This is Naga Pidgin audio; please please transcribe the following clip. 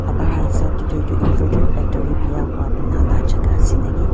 hesab dae tuh inverter battery beya hoa bana la jaka ase naki.